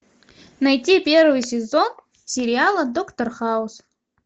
найти первый сезон сериала доктор хаус